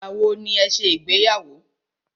Ìgbà wọ ní ẹ ṣe ìgbéyàwó?